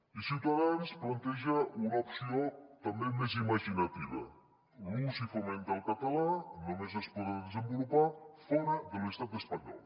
i ciutadans planteja una opció també més imaginativa l’ús i foment del català només es podrà desenvolupar fora de l’estat espanyol